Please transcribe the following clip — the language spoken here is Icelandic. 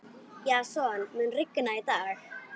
Jason, mun rigna í dag?